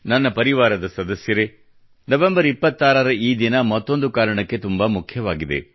ನನ್ನ ಪರಿವಾರದ ಸದಸ್ಯರೇ ನವೆಂಬರ್ 26 ರ ಈ ದಿನವು ಮತ್ತೊಂದು ಕಾರಣಕ್ಕೆ ತುಂಬಾ ಮುಖ್ಯವಾಗಿದೆ